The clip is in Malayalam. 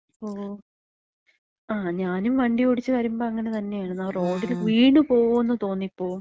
ഓ. ആ. ഞാനും വണ്ടി ഓടിച്ച് വരുമ്പം അങ്ങനെ തന്നെയാണ്. ആ റോഡില് വീണ് പോവുന്ന് തോന്നിപോവും.